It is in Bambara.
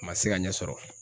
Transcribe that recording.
A ma se ka ɲɛ sɔrɔ